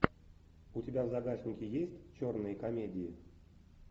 у тебя в загашнике есть черные комедии